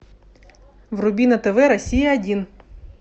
вруби на тв россия один